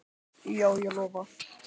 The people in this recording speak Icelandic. Já, ég lofa